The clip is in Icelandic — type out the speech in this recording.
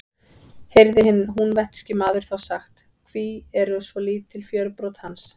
Heyrði hinn húnvetnski maður þá sagt: Hví eru svo lítil fjörbrot hans?